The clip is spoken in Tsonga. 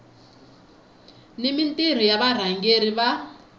ni mintirho ya varhangeri va